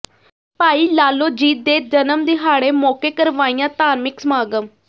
ਭਾਈ ਲਾਲੋ ਜੀ ਦੇ ਜਨਮ ਦਿਹਾੜੇ ਮੌਕੇ ਕਰਵਾਇਆ ਧਾਰਮਿਕ ਸਮਾਗਮ